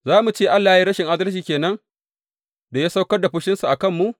Za mu ce Allah ya yi rashin adalci ke nan da ya saukar da fushinsa a kanmu?